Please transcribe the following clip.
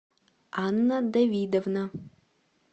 анна давидовна